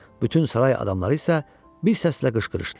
Bütün saray adamları isə bir səslə qışqırışdılar: